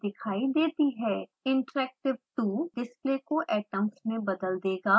interactive 2 display को atoms में बदल देगा